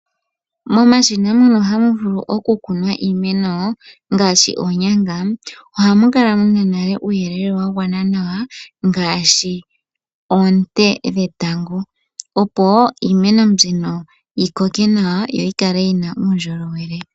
Momashina mono hamu vulu okukunwa iimeno ngaashi, oonyanga ohamu kala muna nale uuyelele wagwana nawa ngaashi, oonte dhetango opo iimeno mbino yikoke na2a yoyi kale yina uundjolowele.